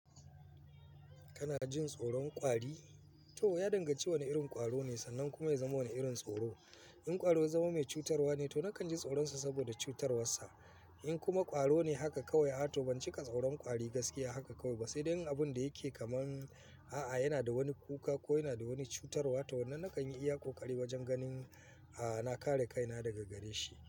Kana jin tsoron ƙwari? To ya danganci wane irin ƙwaro ne sannan kuma ya zama wane irin tsoro. In ƙwaro ya zama mai cutarwa ne, to nakan ji tsoronsa saboda cutarwarsa. In kuma ƙwaro ne haka kawai, a'a to ban cika tsoron ƙwari gaskiya haka kawai ba sai dai yin abun da yake kaman a'a yana da wani kuka ko yana da wani cutarwa wanda nakan yi iya ƙoƙari wajen ganin na kare kaina daga gare shi.